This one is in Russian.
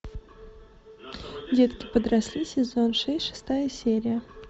детки подросли сезон шесть шестая серия